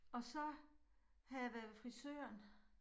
Og så havde jeg været ved frisøren